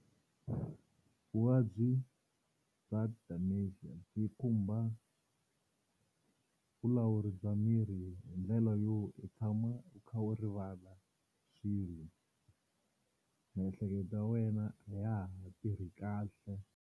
Vuvabyi bya Dementia byi khumba vulawuri bya miri hi ndlela yo u tshama u kha u rivala swilo miehleketo ya wena a ya ha tirhi kahle.